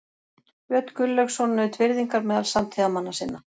Björn Gunnlaugsson naut virðingar meðal samtíðarmanna sinna.